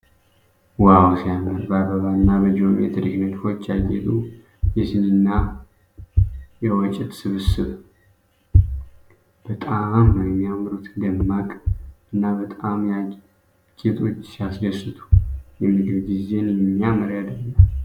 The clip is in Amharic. ዋው ሲያምር ! በአበባና በጂኦሜትሪክ ንድፎች ያጌጡ የሲኒ እና የወጭት ስብስብ በጣም ነው የሚያምሩት !!። ደማቅና ባለቀለም ጌጦች ሲያስደስቱ! የምግብ ጊዜን የሚያምር ያደርጋል።